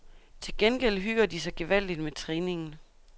Til gengæld hygger de sig gevaldigt med træningen.